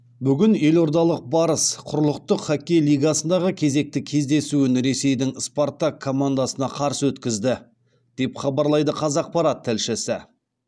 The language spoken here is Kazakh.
бүгін елордалық барыс құрлықтық хоккей лигасындағы кезекті кездесуін ресейдің спартак командасына қарсы өткізді деп хабарлайды қазақпарат тілшісі